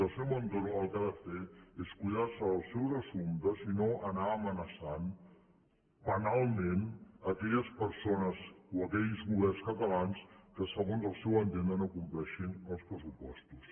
i el senyor montoro el que ha de fer és cuidar se dels seus assumptes i no anar amenaçant penalment aquelles persones o aquells governs catalans que segons el seu entendre no compleixin els pressupostos